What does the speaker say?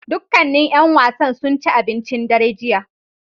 Dukkanin ƴan wasan sun ci abincin dare jiya